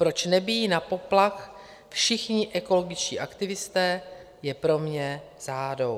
Proč nebijí na poplach všichni ekologičtí aktivisté, je pro mě záhadou.